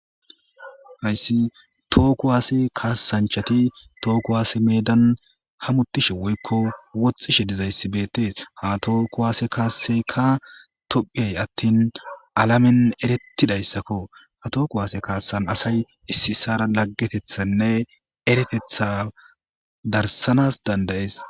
Hayssi tooku waase kaassanchati tooku waase meedan hamutishe woykko wothishe dizayssibeetees ha too kuwaase kaasseykka tophiyay attin alamen erettidayssakko ha too kuwaase kaassan asay issi issara laggetethanne eretetha darsanas dandayees.